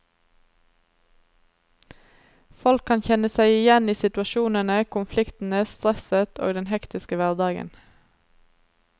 Folk kan kjenne seg igjen i situasjonene, konfliktene, stresset og den hektiske hverdagen.